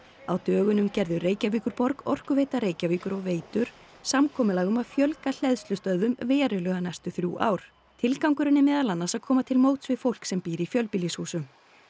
á dögunum gerðu Reykjavíkurborg Orkuveita Reykjavíkur og Veitur samkomulag um að fjölga hleðslustöðvum verulega næstu þrjú ár tilgangurinn er meðal annars að koma til móts við fólk sem býr í fjölbýlishúsum